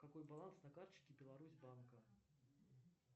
какой баланс на карточке беларусь банка